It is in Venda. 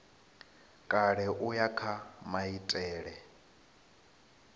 kale u ya kha maitele